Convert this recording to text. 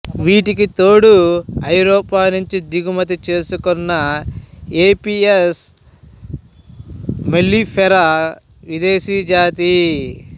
వీటికి తోడు ఐరోపానుంచి దిగుమతి చేసుకున్న ఎపిస్ మెల్లిఫేరా విదేశీ జాతి